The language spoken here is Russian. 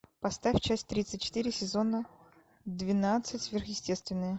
поставь часть тридцать четыре сезона двенадцать сверхъестественное